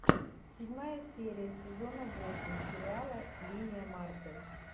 седьмая серия сезона восемь сериала линия марты